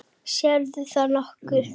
Sérð þú nokkuð?